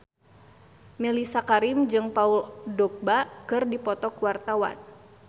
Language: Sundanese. Mellisa Karim jeung Paul Dogba keur dipoto ku wartawan